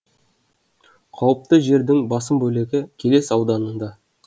қауіпті жердің басым бөлігі келес ауданында